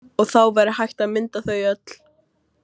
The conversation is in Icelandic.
Og þá væri hægt að mynda þau öll.